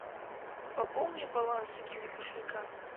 пополни баланс киви кошелька